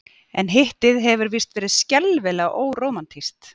En Hittið hefur víst verið skelfilega órómantískt.